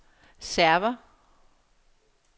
server